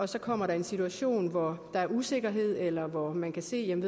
så kommer der en situation hvor der er usikkerhed eller hvor man kan se at en